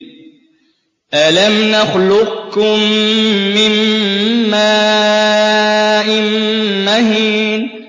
أَلَمْ نَخْلُقكُّم مِّن مَّاءٍ مَّهِينٍ